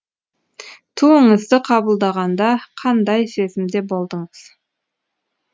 туыңызды қабылдағанда қандай сезімде болдыңыз